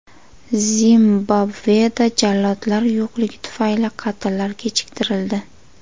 Zimbabveda jallodlar yo‘qligi tufayli qatllar kechiktirildi.